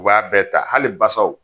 U b'a bɛɛ ta hali basaw.